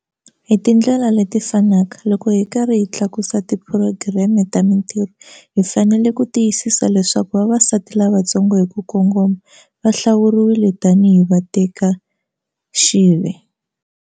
Hi tindlela leti fanaka, loko hi karhi hi tlakusa tiphurogireme ta mintirho, hi fanele ku tiyisisa leswaku vavasati lavantsongo hi ku kongoma va hlawuriwa tani hi vatekaxive.